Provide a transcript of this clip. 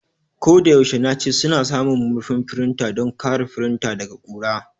Ko da yaushe nace suna samun murfin firinta don kare firinta daga ƙura.